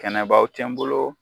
Kɛnɛbaw tɛ n bolo